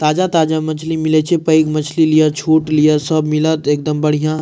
ताजा-ताजा मछली मिले छै पेएग मछली लिया छोट लिया सब मिलत एकदम बढ़िया।